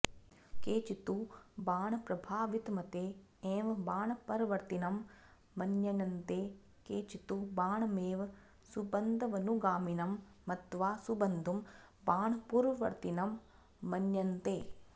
केचित्तु बाणप्रभावितमते एव बाणपरवर्तिनं मन्यन्ते केचित्तु बाणमेव सुबन्ध्वनुगामिनं मत्वा सुबन्धुं बाणपूर्ववर्तिनं मन्यन्ते